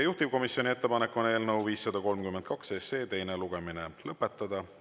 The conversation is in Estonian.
Juhtivkomisjoni ettepanek on eelnõu 532 teine lugemine lõpetada.